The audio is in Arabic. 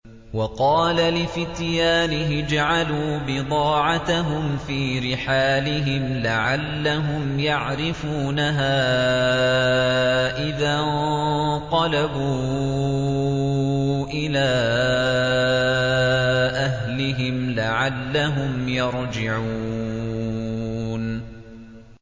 وَقَالَ لِفِتْيَانِهِ اجْعَلُوا بِضَاعَتَهُمْ فِي رِحَالِهِمْ لَعَلَّهُمْ يَعْرِفُونَهَا إِذَا انقَلَبُوا إِلَىٰ أَهْلِهِمْ لَعَلَّهُمْ يَرْجِعُونَ